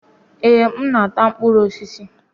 Èé, m na-ata mkpụrụ osisi